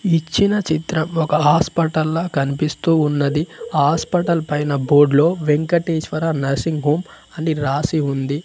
ఇచ్చిన చిత్రం ఒక హాస్పటల్లా కనిపిస్తూ ఉన్నది. ఆ హాస్పిటల్ పైన బోర్డు లో వెంకటేశ్వర నర్సింగ్ హోమ్ అని రాసి ఉంది.